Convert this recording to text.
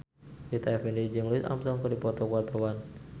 Rita Effendy jeung Louis Armstrong keur dipoto ku wartawan